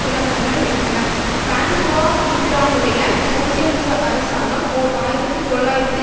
நிலவரங்கள் வெடித்தன பிரான்சுவா மித்திரானுடைய சோசியலிச அரசாங்கம் ஓர் ஆயிரத்து தொள்ளாயிரத்து